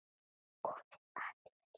Komið að þér.